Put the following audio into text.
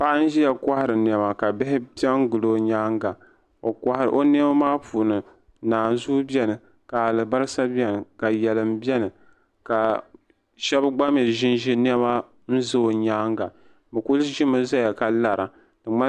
Paɣa n ʒiya kɔhari nɛma ka bihi pe n gili o nyaaŋa o nɛma maa puuni nanzuu bɛni ka alibarisa bɛni ka yalim bɛni ka shɛbi gba mi ʒenʒe nɛma be o nyaaŋa bɛ kuli ʒemi zaya ka lara.